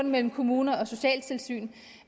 mellem kommuner og socialtilsyn